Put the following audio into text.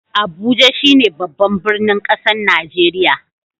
Abuja shine babban birnin kasan Nijeriya.